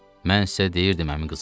Mən sizə deyirdim əmi qızı.